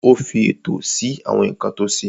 Ó fi ètò sí àwọn nǹkan tó ṣe.